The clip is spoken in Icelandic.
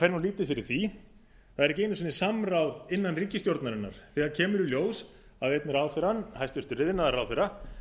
það fer lítið fyrir því það er ekki einu sinni samráð innan ríkisstjórnarinnar þegar kemur í ljós að einn ráðherrann hæstvirtur iðnaðarráðherra